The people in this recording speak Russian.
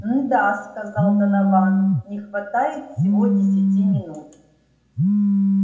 н-да сказал донован не хватает всего десяти минут